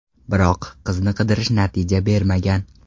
Biroq, qizni qidirish natija bermagan.